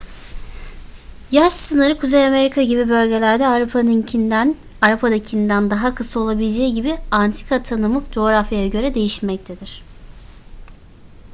yaş sınırı kuzey amerika gibi bölgelerde avrupa'dakinden daha kısa olabileceği için antika tanımı coğrafyaya göre değişmektedir